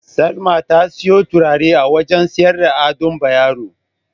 Salma ta siyo turare a wajen siyayyar Ado Bayero.